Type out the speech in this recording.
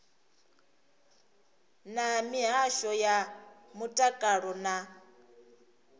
na mihasho ya mutakalo na